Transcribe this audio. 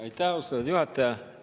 Aitäh, austatud juhataja!